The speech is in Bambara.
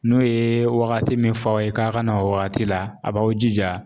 N'o ye wagati min fɔ aw ye, k'a ka na o wagati la a b'aw jija